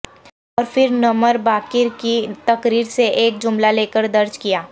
اور پھر Nimr Baqir کی تقریر سے ایک جملہ لیکر درج کیا